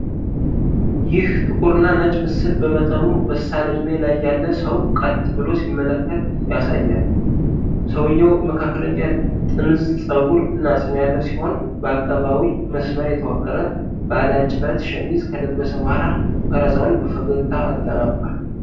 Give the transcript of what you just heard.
ይህ ጥቁርና ነጭ ምስል በመጠኑ በሳል ዕድሜ ላይ ያለ ሰው ቀጥ ብሎ ሲመለከት ያሳያል። ሰውየው መካከለኛ ጥምዝ ፀጉር እና ፂም ያለው ሲሆን፤ በአቀባዊ መስመር የተዋቀረ ባለጭረት ሸሚዝ ከለበሰ በኋላ ቀረፃውን በፈገግታ አጠናቋል።